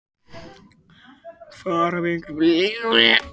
Fordæmi eru fyrir slíku.